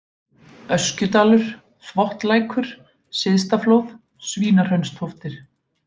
Öskjudalur, Þvottlækur, Syðstaflóð, Svínahraunstóftir